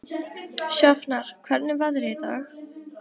Sjafnar, hvernig er veðrið í dag?